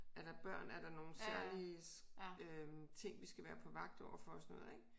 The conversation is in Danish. Er der børn er der nogle særlige øh ting vi skal være på vagt overfor og sådan noget ik